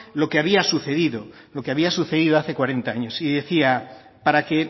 lo que había sucedido hace cuarenta años y decía para que